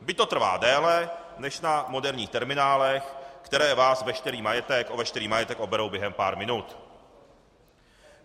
Byť to trvá déle než na moderních terminálech, které vás o veškerý majetek oberou během pár minut.